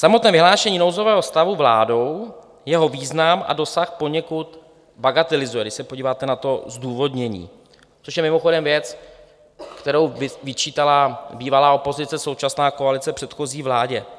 Samotné vyhlášení nouzového stavu vládou jeho význam a dosah poněkud bagatelizuje - když se podíváte na to zdůvodnění - což je mimochodem věc, kterou vyčítala bývalá opozice, současná koalice předchozí vládě.